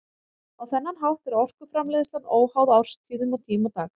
Á þennan hátt er orkuframleiðslan óháð árstíðum og tíma dags.